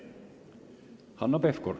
Hanno Pevkur.